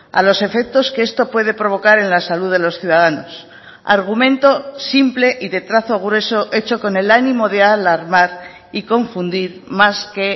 a los efectos que esto puede provocar en la salud de los ciudadanos argumento simple y de trazo grueso hecho con el ánimo de alarmar y confundir más que